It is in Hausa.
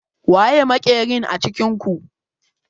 Waye makerin a cikin ku?